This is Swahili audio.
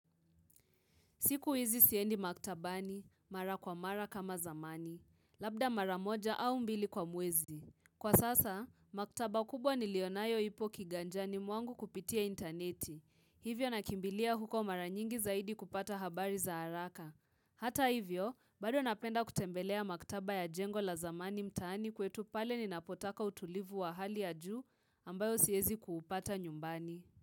Siku hizi siendi maktabani, mara kwa mara kama zamani, labda mara moja au mbili kwa mwezi. Kwa sasa, maktaba kubwa nilionayo ipo kiganjani mwangu kupitia intaneti. Hivyo nakimbilia huko mara nyingi zaidi kupata habari za haraka. Hata hivyo, bado napenda kutembelea maktaba ya jengo la zamani mtaani kwetu pale ninapotaka utulivu wa hali ya juu ambayo siezi kuupata nyumbani.